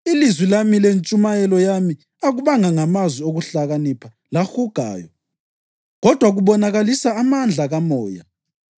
Ilizwi lami lentshumayelo yami akubanga ngamazwi okuhlakanipha lahugayo, kodwa kubonakalisa amandla kaMoya,